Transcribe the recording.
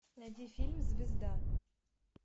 найди фильм звезда